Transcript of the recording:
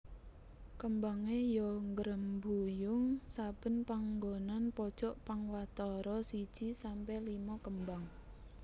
Kembangé ya ngrembuyung saben panggonan pojok pang watara siji sampe limo kembang